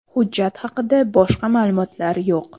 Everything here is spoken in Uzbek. Hujjat haqida boshqa ma’lumotlar yo‘q.